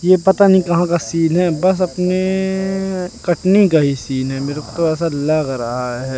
ये पता नहीं कहां का सीन है बस अपने कटनी का ही सीन है मेरे को तो ऐसा लग रहा है।